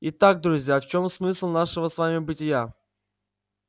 и так друзья в чём смысл нашего с вами бытия